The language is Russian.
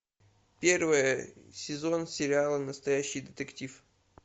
первый сезон сериала настоящий детектив